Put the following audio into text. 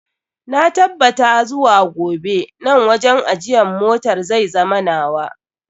Na tabbabta zuwa gobe nan wajen ajiyan motar zai zama nawa.